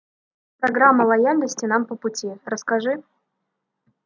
программа лояльности нам по пути расскажи